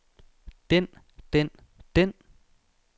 den den den